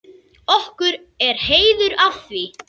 Okkur er heiður af því.